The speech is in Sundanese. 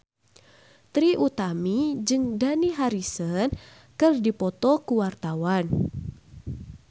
Trie Utami jeung Dani Harrison keur dipoto ku wartawan